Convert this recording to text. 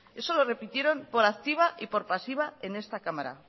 eso lo repitieron por activa y por pasiva en esta cámara